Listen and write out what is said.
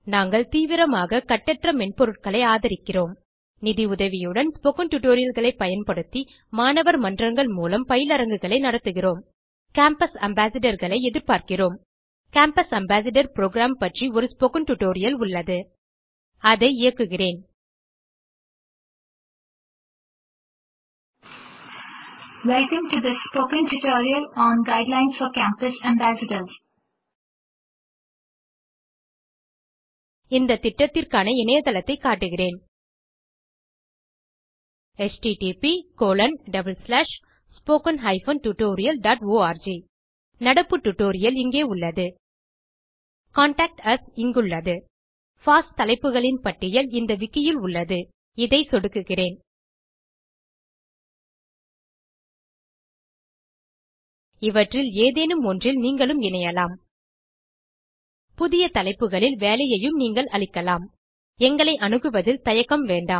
நாங்கள் தீவிரமாக கட்டற்ற மென்பொருட்களை ஆதரிக்கிறோம் நிதி உதவியுடன் ஸ்போக்கன் tutorialகளை பயன்படுத்தி மாணவர் மன்றங்கள் மூலம் பயிலரங்குகளை நடத்துகிறோம் கேம்பஸ் Ambassadorகளை எதிர்பார்க்கிறோம் கேம்பஸ் அம்பாசேடர் புரோகிராம் பற்றி ஒரு ஸ்போக்கன் டியூட்டோரியல் உள்ளது அதை இயக்குகிறேன் இயங்குகிறது இந்த திட்டத்திற்கான இணையதளத்தை காட்டுகிறேன் 1 நடப்பு டியூட்டோரியல் இங்கே உள்ளது கான்டாக்ட் யுஎஸ் இங்குள்ளது பாஸ் தலைப்புகளின் பட்டியல் இந்த விக்கி ல் உள்ளது - இதை சொடுக்குகிறேன் இவற்றில் ஏதேனும் ஒன்றில் நீங்களும் இணையலாம் புதிய தலைப்புகளில் வேலையையும் நீங்கள் அளிக்கலாம் எங்களை அணுகுவதில் தயக்கம் வேண்டாம்